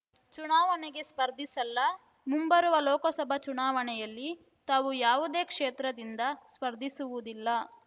ಚುನಾವಣೆಗೆ ಸ್ಪರ್ಧಿಸಲ್ಲ ಮುಂಬರುವ ಲೋಕಸಭಾ ಚುನಾವಣೆಯಲ್ಲಿ ತಾವು ಯಾವುದೇ ಕ್ಷೇತ್ರದಿಂದ ಸ್ಪರ್ಧಿಸುವುದಿಲ್ಲ